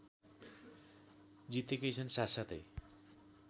जितेकै छन् साथसाथै